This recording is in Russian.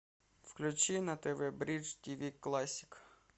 включи на тв бридж тв классик